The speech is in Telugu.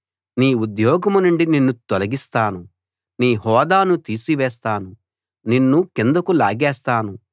నీ ఉద్యోగం నుండి నిన్ను తొలగిస్తాను నీ హోదాను తీసి వేస్తాను నిన్ను కిందకు లాగేస్తాను